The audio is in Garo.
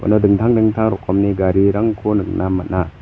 dingtang dingtang rokomni garirangko nikna man·a.